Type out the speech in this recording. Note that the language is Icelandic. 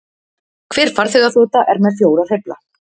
Hver farþegaþota er með fjóra hreyfla